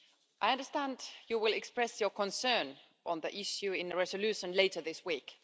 I understand you will express your concern on the issue in a resolution later this week.